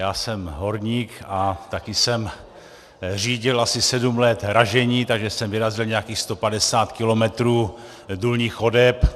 Já jsem horník a také jsem řídil asi sedm let ražení, takže jsem vyrazil nějakých 150 kilometrů důlních chodeb.